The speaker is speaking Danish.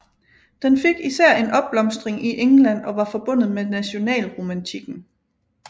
Den fik især en opblomstring i England og var forbundet med nationalromantikken